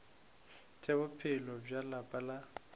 tša bophelo bja lapa la